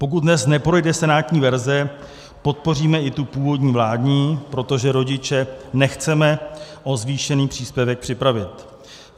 Pokud dnes neprojde senátní verze, podpoříme i tu původní vládní, protože rodiče nechceme o zvýšený příspěvek připravit.